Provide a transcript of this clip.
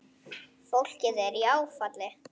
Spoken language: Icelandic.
Fólkið er í áfalli.